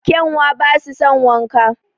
Kyanwa basu son wanka